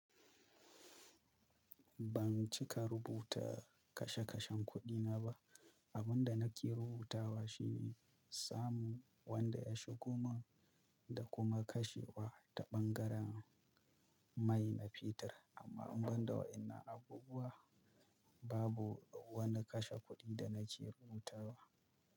Ban cika rubuta kashe kashen kuɗina ba. Abun da nake rubutawa shine samu wanda ya shigo min da kuma kashewa ta bangaren. Mai na fetir. Amma in banda wa'yan nan abubuwa babu wani kashe kuɗi da nake rubutawa.